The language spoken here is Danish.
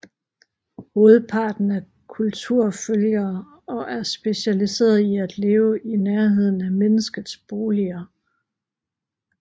Hovedparten er kulturfølgere og er specialiserede i at leve i nærheden af menneskets boliger